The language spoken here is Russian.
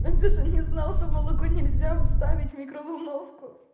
а ты что не знал что молоко нельзя ставить в микроволновку